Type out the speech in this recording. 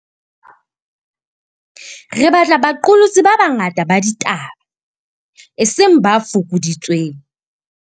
Re batla baqolotsi ba banga ta ba ditaba, eseng ba fokoditsweng.